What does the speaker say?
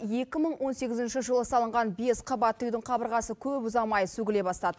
екі мың он сегізінші жылы салынған бес қабатты үйдің қабырғасы көп ұзамай сөгіле бастады